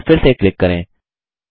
ब4 पर फिर से क्लिक करें